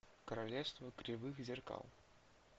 королевство кривых зеркал